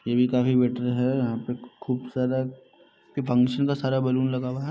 ये भी काफी बेटर है यहाँ पे खुब सारा फंक्शन का सारा बलून लगा हुआ है।